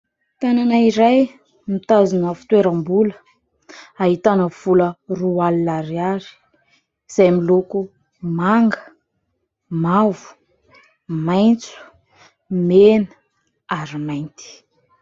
Tanana iray mitazona fitoeram-bola, ahitana vola roa alina ariary izay miloko manga, mavo, maitso, mena ary mainty.